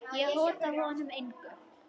Ég hóta honum engu.